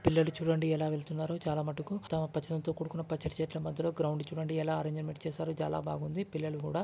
పిల్లలు చూడండి ఎలా వెళ్తున్నారో చాలమటుకు తమ కూడుకున్న పచ్చని చెట్ల మధ్యలో గ్రైండ్ చుడండి ఎలా అరంజిమెంట్ చేసారో చాల బాగుంది పిల్లలు కూడ --